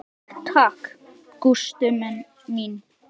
Takk takk, Gústa mín.